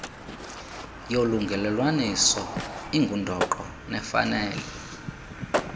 yolungelelwaniso ingundoqo nefanele